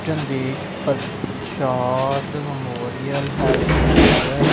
Chandesh Prasad memorial health care.